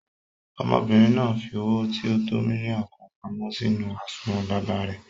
Ọmọbìnrin náà fi owó tí o tó mílíọ̀nù kan pamọ́ sínú àsùnwòn baba rẹ̀.